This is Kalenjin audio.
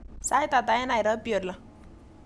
Sait ata eng nairobi oli